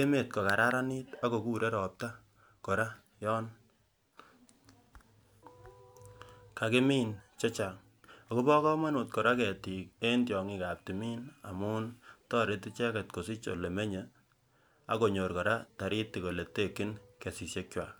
emet kokararanit akokure ropta kora yon kakimin chechang akobo komonut kora ketiik eng tyongik ab timin amun toreti icheket kosich olemenyi akonyor kora taritik oletekyin kesisyekwak.